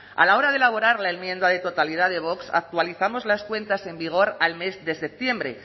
a la hora de elaborar la enmienda de totalidad de vox actualizamos las cuentas en vigor al mes de septiembre